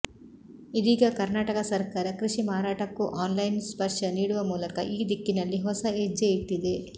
ಇದೀಗ ಕರ್ನಾಟಕ ಸರ್ಕಾರ ಕೃಷಿ ಮಾರಾಟಕ್ಕೂ ಆನ್ಲೈನ್ ಸ್ಪರ್ಶ ನೀಡುವ ಮೂಲಕ ಈ ದಿಕ್ಕಿನಲ್ಲಿ ಹೊಸ ಹೆಜ್ಜೆ ಇಟ್ಟಿದೆ